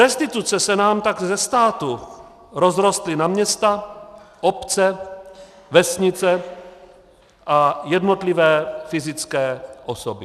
Restituce se nám tak ze státu rozrostly na města, obce, vesnice a jednotlivé fyzické osoby.